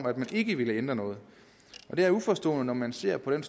at man ikke ville ændre noget det er uforståeligt når man ser på den